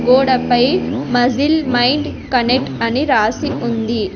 గోడపై muscle mind connect అని రాసి ఉంది.